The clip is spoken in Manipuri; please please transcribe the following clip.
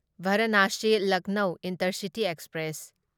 Varanasi Lucknow intercity express